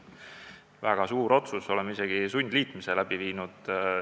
Väga suur otsus, oleme isegi sundliitmise läbi viinud.